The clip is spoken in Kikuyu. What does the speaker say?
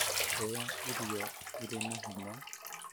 Rĩa ĩrio irĩ na hinya